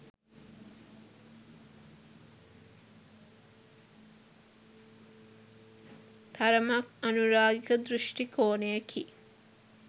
තරමක් අනුරාගික දෘෂ්ටිකෝණයකි